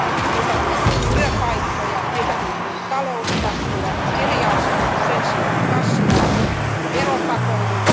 Meiltä puuttuu työpaikkoja, meiltä puuttuu talouskasvua, eriarvoisuus sen sijaan kasvaa, on veropakoilua.